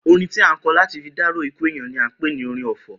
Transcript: Orin tí a ń ko̩ láti fi dárò ikú èèyan ni à ń pè ni orin ò̩fò̩